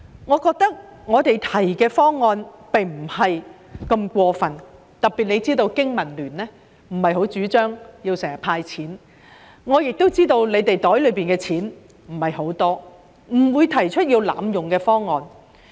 我們提出的方案並不太過分，特別香港經濟民生聯盟並不太主張經常"派錢"，我亦知道局方獲得的撥款不太多，我們不會提出濫用公帑的方案。